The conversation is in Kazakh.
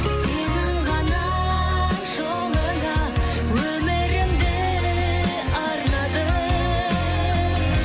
сенің ғана жолыңа өмірімді арнадым